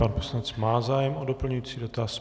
Pan poslanec má zájem o doplňující dotaz.